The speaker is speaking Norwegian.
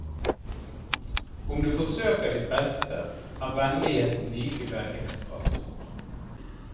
Om du forsøker ditt beste, er vennligheten likevel ekstra stor.